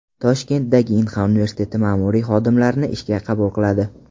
Toshkentdagi Inha universiteti ma’muriy xodimlarni ishga qabul qiladi.